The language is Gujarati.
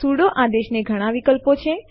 સુડો આદેશ ને ઘણા વિકલ્પો છે